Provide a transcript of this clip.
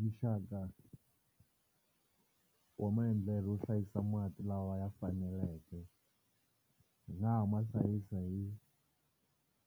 Muxaka wa maendlelo yo hlayisa mati lawa ya faneleke hi nga ha ma hlayisa hi